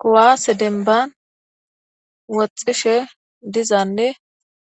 Kuwaase denban woxxishe dizanne